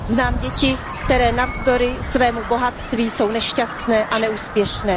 Znám děti, které navzdory svému bohatství jsou nešťastné a neúspěšné.